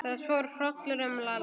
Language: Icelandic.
Það fór hrollur um Lalla.